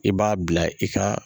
I b'a bila i ka